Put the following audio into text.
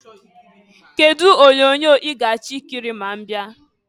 Kedu ụdị onyoonyo ị ga-achọ ikiri ma ị bịa?